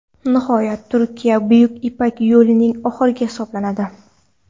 Nihoyat, Turkiya Buyuk ipak yo‘lining oxiri hisoblanadi.